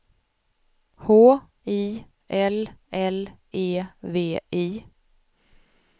H I L L E V I